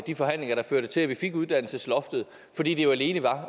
de forhandlinger der førte til at vi fik uddannelsesloftet fordi det jo alene var